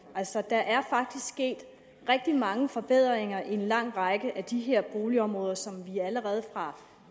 altså der er faktisk sket rigtig mange forbedringer i en lang række af de her boligområder som vi allerede fra